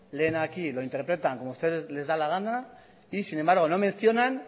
leen aquí lo interpretan como ustedes les da la gana y sin embargo no mencionan